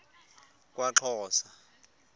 kwaxhosa